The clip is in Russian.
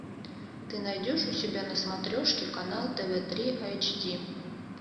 ты найдешь у себя на смотрешке канал тв три айч ди